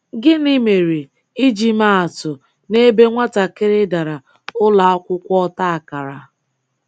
Gịnị mere, iji maa atụ, n'ebe nwatakịrị "dara" ụlọakwụkwọ ọtakara?